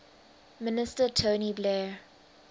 minister tony blair